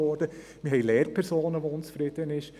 Es gibt Lehrpersonen, die unzufrieden sind.